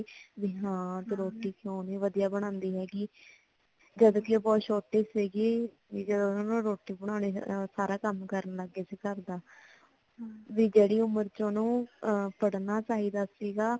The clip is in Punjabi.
ਹਾਂ ਭੀ ਰੋਟੀ ਕਿਉਂ ਨੀ ਵਧੀਆ ਬਣਾਂਦੀ ਹੈਗੀ ਜਦ ਕਿ ਓ ਬਹੁਤ ਛੋਟੀ ਸੀਗੀ ਜਦੋ ਓਨੁ ਰੋਟੀ ਬਣਾਉਣੀ ਸਾਰਾ ਕਮ ਕਰਨ ਲੱਗ ਸੀ ਘਰ ਦਾ ਵੀ ਜੇੜੀ ਉਮਰ ਚ ਓਨੁ ਪੜ੍ਹਨਾ ਚਾਹੀਦਾ ਸੀਗਾ